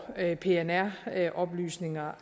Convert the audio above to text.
at pnr oplysninger